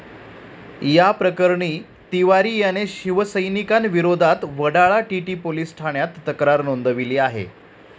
या प्रकरणी तिवारी याने शिवसैनिकांविरोधात वडाळा टीटी पोलिस ठाण्यात तक्रार नोंदवली आहे.